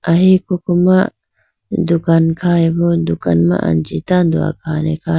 Ahi koko ma dukan khayi bo dukan ma anji tando akhane khayi bo.